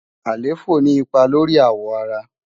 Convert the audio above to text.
àléfọ ni ipá lóri áwọ àrá